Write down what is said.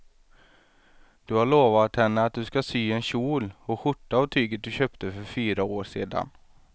Du har lovat henne att du ska sy en kjol och skjorta av tyget du köpte för fyra år sedan.